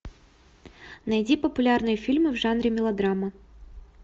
найди популярные фильмы в жанре мелодрама